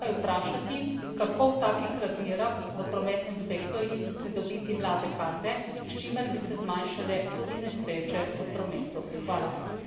Zato se moramo vsi skupaj vprašati, kako v takih razmerah v prometnem sektorju pridobiti mlade kadre, s čimer bi se zmanjšale tudi nesrečev prometu.